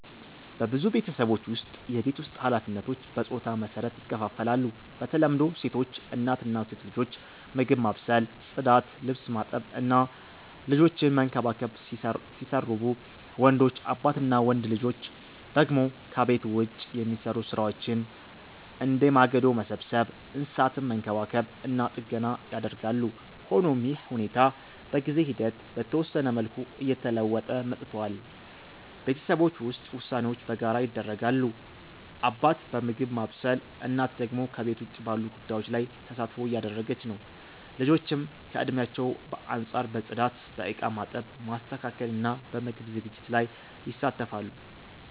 በብዙ ቤተሰቦች ውስጥ የቤት ውስጥ ኃላፊነቶች በጾታ መሰረት ይከፋፈላሉ። በተለምዶ ሴቶች (እናት እና ሴት ልጆች) ምግብ ማብሰል፣ ጽዳት፣ ልብስ ማጠብ እና ልጆችን መንከባከብ ሲሰሩቡ፣ ወንዶች (አባት እና ወንድ ልጆች) ደግሞ ከቤት ውጭ የሚሰሩ ሥራዎችን፣ እንደ ማገዶ መሰብሰብ፣ እንስሳትን መንከባከብ እና ጥገና ያደርጋሉ። ሆኖም ይህ ሁኔታ በጊዜ ሂደት በተወሰነ መልኩ እየተለወጠ መጥቷል። ቤተሰቦች ውስጥ ውሳኔዎች በጋራ ይደረጋሉ፤ አባት በምግብ ማብሰል፣ እናት ደግሞ ከቤት ውጭ ባሉ ጉዳዮች ላይ ተሳትፎ እያደረገች ነው። ልጆችም ከእድሜያቸው አንጻር በጽዳት፣ በእቃ ማጠብ፣ ማስተካከል እና በምግብ ዝግጅት ላይ ይሳተፋሉ።